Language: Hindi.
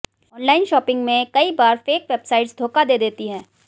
ऑनलाइन शॉपिंग में कई बार फेक वेबसाइट्स धोखा दे देती हैं